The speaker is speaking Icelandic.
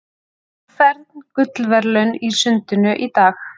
Fern gullverðlaun í sundinu í dag